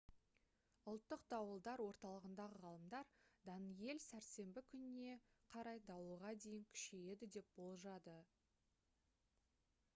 ұлттық дауылдар орталығындағы ғалымдар «даниэль» сәрсенбі күніне қарай дауылға дейін күшейеді деп болжады